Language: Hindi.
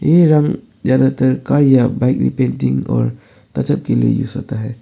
यह रंग ज्यादातर कार या बाइक की रिपेंटिंग और तजब के लिए यूज़ होता है।